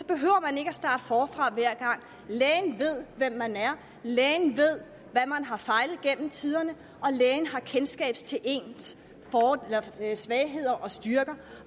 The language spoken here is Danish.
behøver at starte forfra hver gang lægen ved hvem man er lægen ved hvad man har fejlet gennem tiderne og lægen har kendskab til ens svagheder og styrker